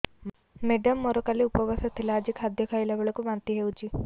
madam ମୋର କାଲି ଉପବାସ ଥିଲା ଆଜି ଖାଦ୍ୟ ଖାଇଲା ବେଳକୁ ବାନ୍ତି ହେଊଛି